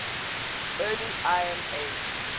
early iron age